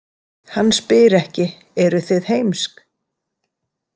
Hann spyr ekki „Eruð þið heimsk?“